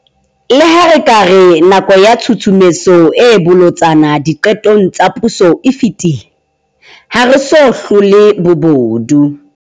Le ha re ka re nako ya tshusumetso e bolotsana diqetong tsa puso e fetile, ha re so hlole bobodu.